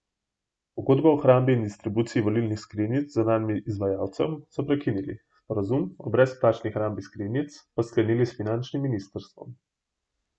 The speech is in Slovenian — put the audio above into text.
Pogodbo o hrambi in distribuciji volilnih skrinjic z zunanjim izvajalcem so prekinili, sporazum o brezplačni hrambi skrinjic pa sklenili s finančnim ministrstvom.